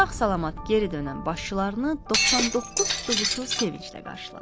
Sağ-salamat geri dönən başçılarını 99 tutquşu sevinclə qarşıladı.